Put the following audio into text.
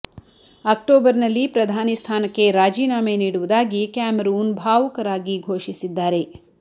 October ನಲ್ಲಿ ಪ್ರಧಾನಿ ಸ್ಥಾನಕ್ಕೆ ರಾಜೀನಾಮೆ ನೀಡುವುದಾಗಿ ಕ್ಯಾಮರೂನ್ ಭಾವುಕರಾಗಿ ಘೋಷಿಸಿದ್ದಾರೆ